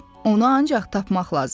Onu ancaq tapmaq lazımdır.